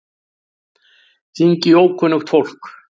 Hringi í ókunnugt fólk.